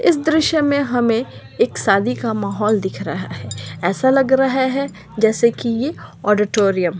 इस दृश्य में हमे एक शादी का माहौल दिख रहा है ऐसा लग रहा है जैसे की ये ओडोटोरियम --